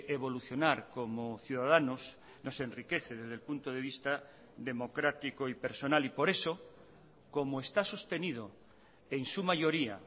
evolucionar como ciudadanos nos enriquece desde el punto de vista democrático y personal y por eso como está sostenido en su mayoría